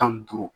Tan ni duuru